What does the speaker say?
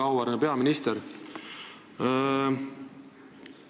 Väga auväärne peaminister!